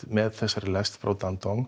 með þessari lest frá